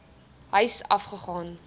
huise af gegaan